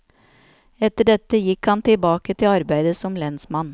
Etter dette gikk han tilbake til arbeidet som lensmann.